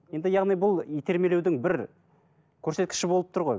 енді яғни бұл итермелеудің бір көрсеткіші болып тұр ғой